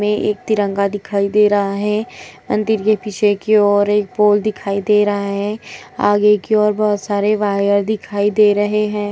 मे एक तिरंगा दिखाई दे रहा हैं। अंतिर के पीछे और एक पोल दिखाई दे रहा है। आगे की ओर बहोत सारे वायर दिखाई दे रहे हैं।